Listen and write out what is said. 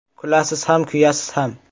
Kulasiz ham, kuyasiz ham.